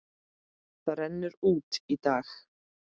Það rennur út í dag.